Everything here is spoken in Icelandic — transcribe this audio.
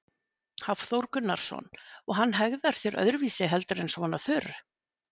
Hafþór Gunnarsson: Og hann hegðar sér öðruvísi heldur en svona þurr?